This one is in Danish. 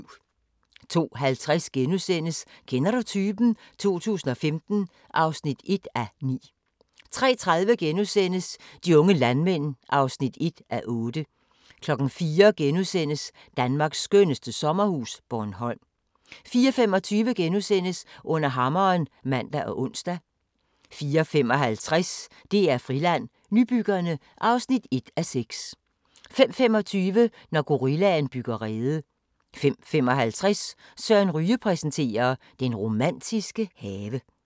02:50: Kender du typen? 2015 (1:9)* 03:30: De unge landmænd (1:8)* 04:00: Danmarks skønneste sommerhus – Bornholm * 04:25: Under hammeren *(man og ons) 04:55: DR-Friland: Nybyggerne (1:6) 05:25: Når gorillaen bygger rede 05:55: Søren Ryge præsenterer: Den romantiske have